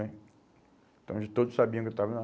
Né? Então, eles todos sabiam que eu estava lá.